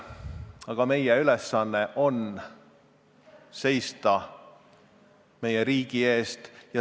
Aga meie ülesanne on seista meie riigi eest.